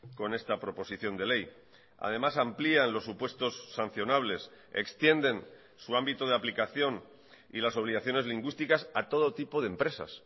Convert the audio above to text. con esta proposición de ley además amplían los supuestos sancionables extienden su ámbito de aplicación y las obligaciones lingüísticas a todo tipo de empresas